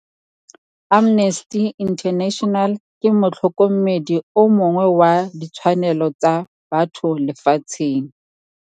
Amnesty International ke motlhôkômêdi o mongwe wa ditshwanelô tsa batho lefatsheng.